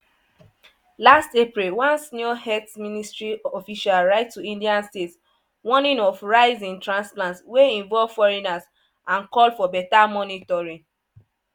last april one senior health ministry official write to indian states warning of "rise" in transplants wey involve foreigners and call for better monitoring.